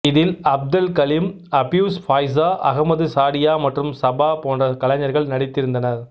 இதில் Abdel Halim Hafez Faiza Ahmed Shadia மற்றும் Sabah போன்ற கலைஞர்கள் நடித்திருந்தனர்